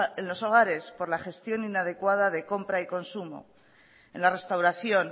en los hogares por la gestión inadecuada de compra y consumo en la restauración